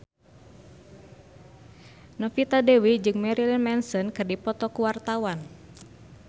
Novita Dewi jeung Marilyn Manson keur dipoto ku wartawan